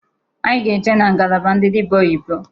Anyị ga eje na ngalaba ndị dịbịa oyibo.